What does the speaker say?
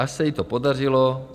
Až se jí to podařilo.